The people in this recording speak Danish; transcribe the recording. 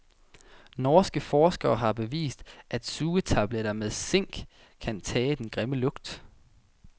Norske forskere har bevist, at sugetabletter med zink kan tage den grimme lugt.